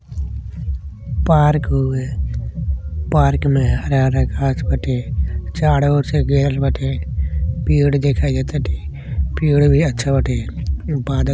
Park हउवे park मे हरा हरा घास बाटे चारों ओर से घेरल बाटे पेड़ दिखाइ दे ताटे। पेड़ भी अच्छा बाटे बादल दिखाई दे ताटे |